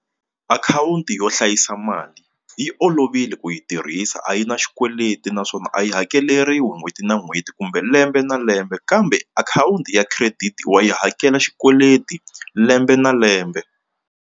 Akhawunti yo hlayisa mali yi olovile ku yi tirhisa a yi na xikweleti naswona a yi hakeleriwa n'hweti na n'hweti kumbe lembe na lembe kambe akhawunti ya credit wa yi hakela xikweleti lembe na lembe.